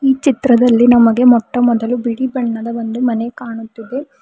ಈ ಚಿತ್ರದಲ್ಲಿ ನಮಗೆ ಮೊಟ್ಟಮೊದಲು ಬಿಳಿ ಬಣ್ಣದ ಒಂದು ಮನೆ ಕಾಣುತ್ತಿದೆ.